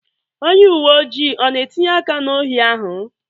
Onye uwe ojii ọ na-etinye aka na ohi ahụ?